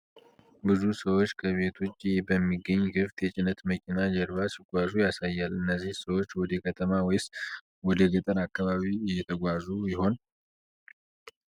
ብዙ ሰዎች ከቤት ውጭ በሚገኝ ክፍት የጭነት መኪና ጀርባ ሲጓዙ ያሳያል። እነዚህ ሰዎች ወደ ከተማ ወይስ ወደ ገጠር አካባቢ እየተጓዙ ይሆን?